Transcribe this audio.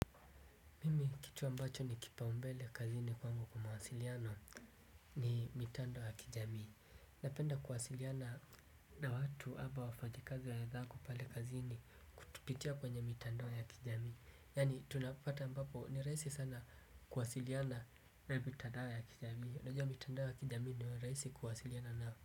Mimi kitu ambacho ni kipaumbele kazini kwangu kuwa mawasiliano ni mitandao ya kijamii. Napenda kuwasiliana na watu ama wafanyikazi wenzangu pale kazini kupitia kwenye mitandao ya kijamii. Yani tunapata ambapo ni rahisi sana kuwasiliana na mitandao ya kijamii. Najuwa mitandao ya kijamii ndio rahisi kuwasiliana nao.